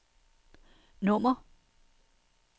nummer